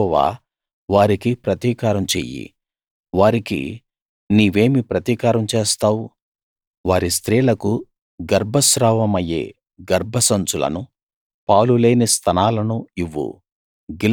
యెహోవా వారికి ప్రతీకారం చెయ్యి వారికి నీవేమి ప్రతీకారం చేస్తావు వారి స్త్రీలకు గర్భస్రావమయ్యే గర్భసంచులను పాలు లేని స్తనాలను ఇవ్వు